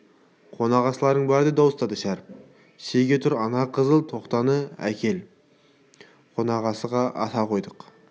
қонақасыларың бар деп дауыстады шәріп шеге тұр ана қызыл тоқтыны әкеліп қонақасыға асасы тойдық